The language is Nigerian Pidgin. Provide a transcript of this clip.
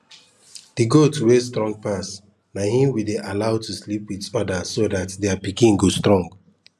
the goat wey strong pass na him we dey allow to sleep with others so that their pikin go strong